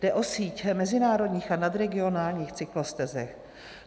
Jde o síť mezinárodních a nadregionálních cyklostezek.